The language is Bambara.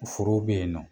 Forow bɛ yen nɔ